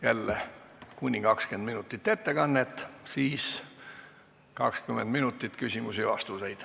Jälle kuni 20 minutit ettekannet ja siis 20 minutit küsimusi-vastuseid.